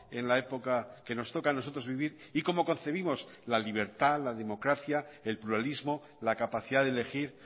en la época que nos toca a nosotros vivir y como concebimos la libertad la democracia el pluralismo la capacidad de elegir